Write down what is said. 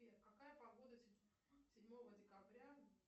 сбер какая погода седьмого декабря